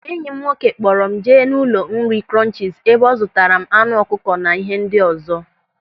Enyi m nwoke kpọrọ m jee n'ụlọ nri Krọnchis ebe ọ zụtara m anụ ọkụkọ na ihe ndị ọzọ.